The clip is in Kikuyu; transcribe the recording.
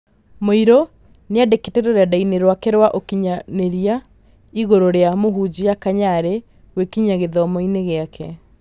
Mũirũ nĩandĩkĩte rũrendaini rwake rwa ũkinyanĩria ĩgũrũ rĩa mũhunjia Kanyarĩ, gwĩkinyia gĩthomoinĩ gĩake.